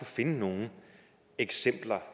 finde nogen eksempler